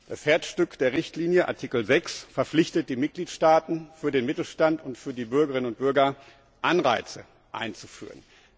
Das Herzstück der Richtlinie Artikel 6 verpflichtet die Mitgliedstaaten, für den Mittelstand und für die Bürgerinnen und Bürger Anreize einzuführen.